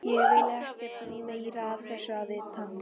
Ég vil ekkert meira af þessu vita.